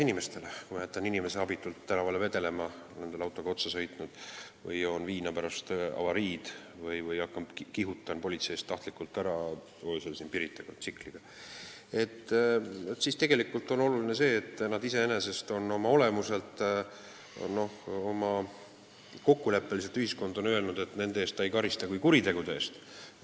Näiteks, kui ma jätan inimese abitult tänavale vedelema, olles talle autoga otsa sõitnud, joon viina pärast avariid või põgenen tsikliga politsei eest öösel Pirital, siis tegelikult on oluline, et ühiskond on kokkuleppeliselt öelnud, et nende tegude eest ta ei karista kui kuritegude eest.